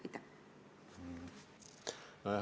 Aitäh!